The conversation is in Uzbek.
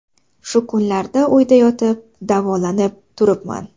Shu kunlarda uyda yotib, davolanib turibman.